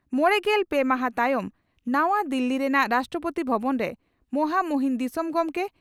ᱢᱚᱲᱮᱜᱮᱞ ᱯᱮ ᱢᱟᱦᱟᱸ ᱛᱟᱭᱚᱢ ᱱᱟᱣᱟ ᱫᱤᱞᱤ ᱨᱮᱱᱟᱜ ᱨᱟᱥᱴᱨᱚᱯᱚᱛᱤ ᱵᱷᱚᱵᱚᱱ ᱨᱮ ᱢᱚᱦᱟᱢᱩᱦᱤᱱ ᱫᱤᱥᱚᱢ ᱜᱚᱢᱠᱮ